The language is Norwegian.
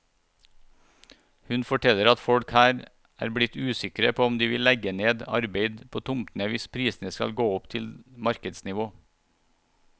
Hun forteller at folk her er blitt usikre på om de vil legge ned arbeid på tomtene hvis prisene skal gå opp til markedsnivå.